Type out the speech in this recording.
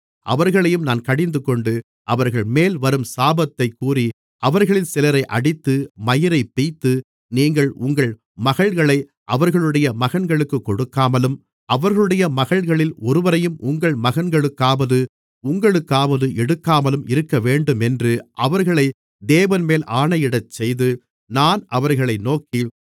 அவர்களையும் நான் கடிந்துகொண்டு அவர்கள்மேல் வரும் சாபத்தைக் கூறி அவர்களில் சிலரை அடித்து மயிரைப் பிய்த்து நீங்கள் உங்கள் மகள்களை அவர்களுடைய மகன்களுக்குக் கொடுக்காமலும் அவர்களுடைய மகள்களில் ஒருவரையும் உங்கள் மகன்களுக்காவது உங்களுக்காவது எடுக்காமலும் இருக்கவேண்டுமென்று அவர்களை தேவன்மேல் ஆணையிடச்செய்து நான் அவர்களை நோக்கி